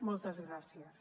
moltes gràcies